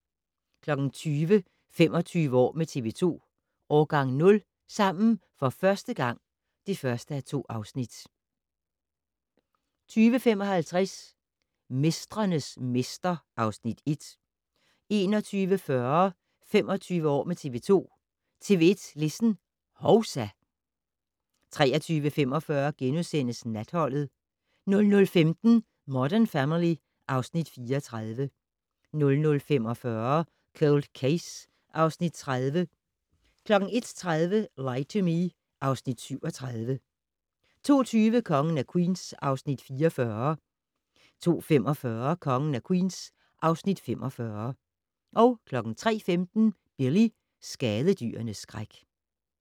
20:00: 25 år med TV 2: Årgang 0 - sammen for første gang (1:2) 20:55: Mestrenes mester (Afs. 1) 21:40: 25 år med TV 2: TV 2 Listen - hovsa! 23:45: Natholdet * 00:15: Modern Family (Afs. 34) 00:45: Cold Case (Afs. 30) 01:30: Lie to Me (Afs. 37) 02:20: Kongen af Queens (Afs. 44) 02:45: Kongen af Queens (Afs. 45) 03:15: Billy - skadedyrenes skræk